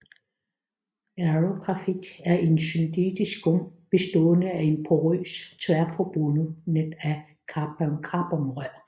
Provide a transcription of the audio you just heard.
Aerografit er en syntetisk skum bestående af en porøs tværforbundet net af carbonrør